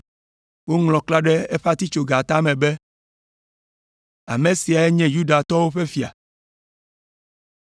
Woŋlɔ klã ɖe eƒe atitsoga tame be, ame siae nye Yudatɔwo ƒe Fia.